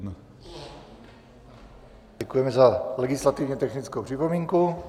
Děkujeme za legislativně technickou připomínku.